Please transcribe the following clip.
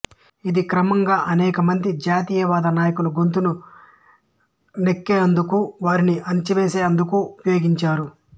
ఇది క్రమంగా అనేక మంది జాతీయవాద నాయకుల గొంతును నిక్కేందుకు వారిని అణచివేసేందుకూ ఉపయోగించారు